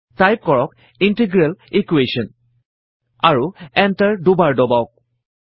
type কৰক integral Equations আৰু enter দুবাৰ দবাওক